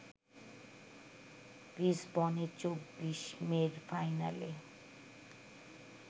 লিসবনে ২৪ মের ফাইনালে